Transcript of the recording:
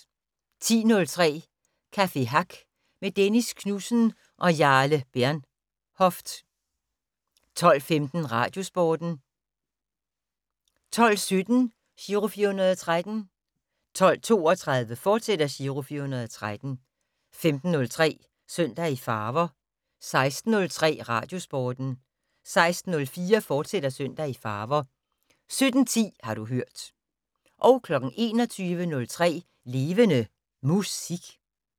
10:03: Café Hack med Dennis Knudsen og Jarle Bernhoft 12:15: Radiosporten 12:17: Giro 413 12:32: Giro 413, fortsat 15:03: Søndag i Farver 16:03: Radiosporten 16:04: Søndag i Farver, fortsat 17:10: Har du hørt 21:03: Levende Musik